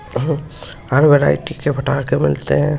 हुम हर वेरिटी के पटाके मिल ते है।